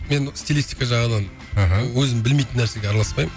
мен стилистика жағына мхм өзім білмейтін нәрсеге араласпаймын